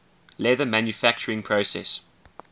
leather manufacturing process